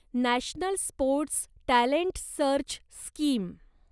national sports talent search scheme